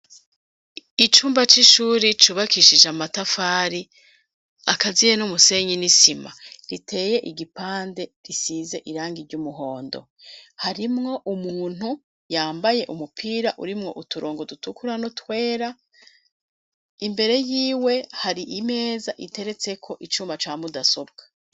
icumba c'ishure cubakishije amatafari akaziye numusenyi n'isima riteye igipande risize irangi ry'umuhondo harimwo umuntu yambaye umupira urimwo uturongo dutukura nu twera imbere y'iwe hari imeza iteretse ko icumba ca mudasobwa